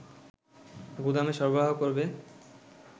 গুদামে সরবরাহ করবে